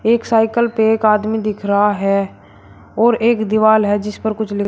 एक साइकल पे एक आदमी दिख रहा है और एक दीवाल है जिस पर कुछ लिख--